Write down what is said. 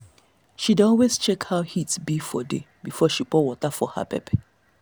she dey always check how heat be for day before she pour water for her pepper.